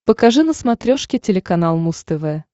покажи на смотрешке телеканал муз тв